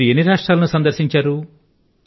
మీరు ఎన్ని రాష్ట్రాల ను సందర్శించారు